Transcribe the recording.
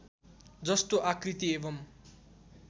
जस्तो आकृति एवम्